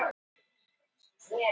Hún röltir inn á skólalóðina.